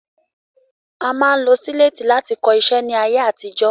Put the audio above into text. A máa ń lo sílètì láti kọ iṣẹ́ ní ayé àtijó.